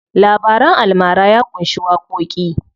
Labaran almara ya ƙunshi waƙoƙi.